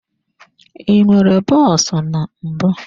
I nwere bọs na mbụ.